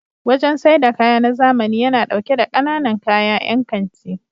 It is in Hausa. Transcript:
Wajen saida kaya na zamani yana ɗauke da ƙananan kaya 'yan kanti.